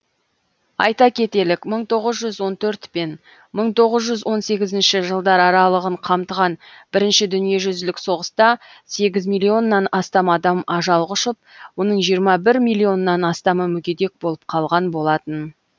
айта кетелік мың тоғыз жүз он төрт пен мың тоғыз жүз он сегізінші жылдар аралығын қамтыған бірінші дүниежүзілік соғыста сегіз миллионнан астам адам ажал құшып оның жиырма бір милионнан астамы мүгедек болып қалған болатын